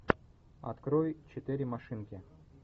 открой четыре машинки